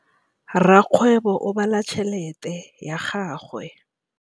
Rakgwêbô o bala tšheletê ya gagwe.